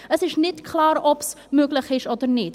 Es ist nicht klar, ob es möglich ist oder nicht.